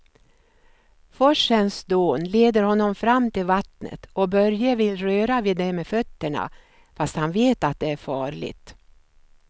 Forsens dån leder honom fram till vattnet och Börje vill röra vid det med fötterna, fast han vet att det är farligt.